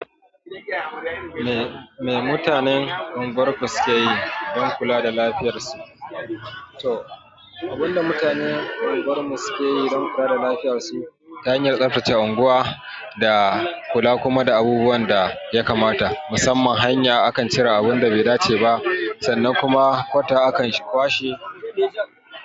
Me mutanen unguwar ku suke yi don kula da lafiyar su? To, abin da mutanen unguwar mu suke yi don kula da lafiyar su ta hanyan tsaftace unguwa da kula kuma da abubuwan da ya kamata. Musamman hanya akan cire abun da bai dace ba sannan kuma kwata akan kwashe.